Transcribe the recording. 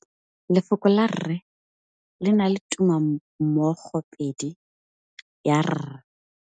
Lefoko la rre le na le tumammogôpedi ya, r.